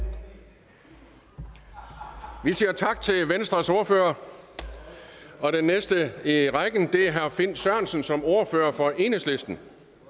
herre vi siger tak til venstres ordfører og den næste i rækken er herre finn sørensen som ordfører for enhedslisten